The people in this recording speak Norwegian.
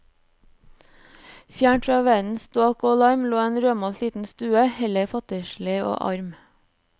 Fjernt fra verdens ståk og larm, lå en rødmalt liten stue, heller fattigslig og arm.